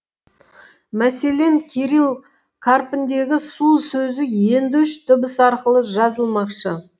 мәселен кирилл қарпіндегі су сөзі енді үш дыбыс арқылы жазылмақшы